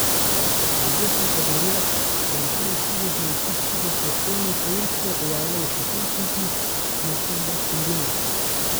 V obeh kategorijah se na prvih štirih mestih skupaj s prestolnico Irske pojavljajo še Helsinki, Luksemburg in Dunaj.